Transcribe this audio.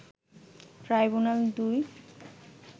ট্রাইব্যুনাল-২